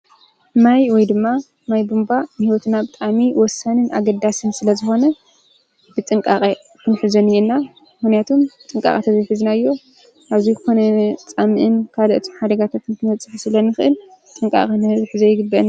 ማይ ወይ ድማ ማይ ቦምባ ንሕይወትና ብጣኣሚ ወሳንን ኣገዳስን ስለ ዝኾነ ብጥንቃቐ ኽንፊ ዘን እየና ውንያቱም ብጥንቃቓተ ዘይፊ ዝናዮ ኣብዙይ ኮነ ጻምዕን ካድእቱም ሓደጋተትን ክነጽፍ ስለንኽእል ጥንቃቐንሕርፍ ዘይግበን።